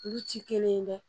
Olu ci kelen ye dɛ